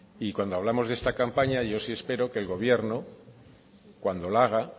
y cuando hablamos de esta campaña yo sí espero que el gobierno cuando la haga